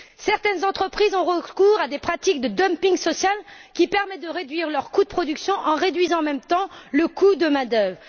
Certaines entreprises ont recours à des pratiques de dumping social, qui permettent de réduire leurs coûts de production en réduisant en même temps le coût de la main d'œuvre.